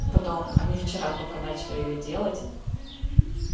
потом они вчера только начали её делать